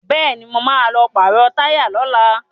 Bẹ́ẹ̀ni, mo ma lọ pàrọ̀ táyà lọ́la